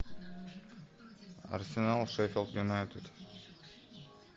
арсенал шеффилд юнайтед